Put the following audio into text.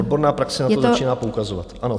Odborná praxe na to začíná poukazovat.